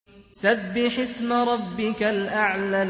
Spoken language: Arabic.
سَبِّحِ اسْمَ رَبِّكَ الْأَعْلَى